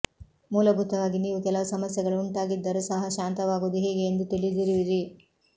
ಮೂಲಭೂತವಾಗಿ ನೀವು ಕೆಲವು ಸಮಸ್ಯೆಗಳು ಉಂಟಾಗಿದ್ದರೂ ಸಹ ಶಾಂತವಾಗುವುದು ಹೇಗೆ ಎಂದು ತಿಳಿದಿರುವಿರಿ